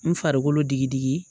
N farikolo digi digi